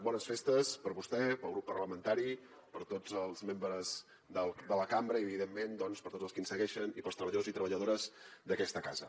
bones festes per a vostè per al grup parlamentari per a tots els membres de la cambra i evidentment doncs per a tots els que ens segueixen i per als treballadors i treballadores d’aquesta casa